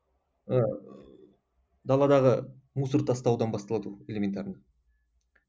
ыыы даладағы мусор тастаудан басталады ғой элементарный